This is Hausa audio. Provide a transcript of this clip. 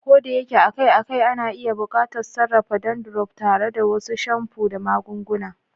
Ko da yake akai-akai, ana iya buƙatar sarrafa dandruff tare da wasu shamfu da magunguna.